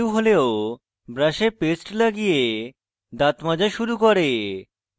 সে নিদ্রালু হলেও ব্রাশে পেস্ট লাগিয়ে দাঁত মাজা শুরু করে